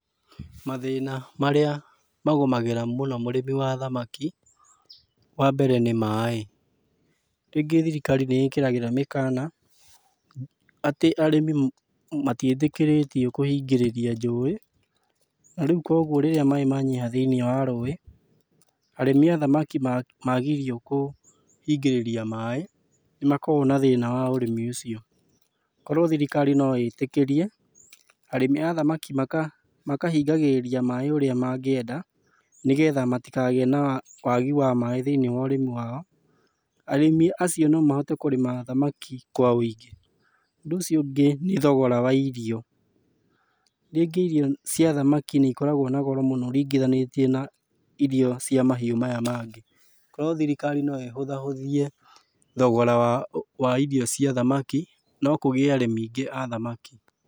Mathĩna marĩa magũmagĩra mũno mũrĩmi wa thamaki, wambere nĩ maĩ. Rĩngĩ thirikari nĩĩkĩragĩra mĩkana, atĩ arĩmi matiĩtĩkĩrĩtio kũhingĩrĩria njũĩ, na rĩu kuoguo rĩrĩa maĩ manyiha thĩiniĩ wa rũĩ, arĩmi a thamaki magirio kũhingĩrĩria maĩ, nĩmakoragũo na thĩna wa ũrĩmi ũcio. Korwo thirikari no ĩtĩkĩrie, arĩmi a thamaki makahingagĩrĩria maĩ ũrĩa mangĩenda, nĩgetha matikagĩe na wagi wa maĩ thĩiniĩ wa ũrĩmi wao, arĩmi acio no mahote kũrĩma thamaki kwa wĩingĩ. Ũndũ ũcio ũngĩ nĩ thogora wa irio. Rĩngĩ irio cia thamaki nĩikoragũo na goro mũno ũrĩngithanĩtie na irio cia mahiũ maya mangĩ. Korwo thirikari no ĩhũthahũthie thogora wa wa irio cia thamaki, no kũgĩe arĩmi aingĩ a thamaki.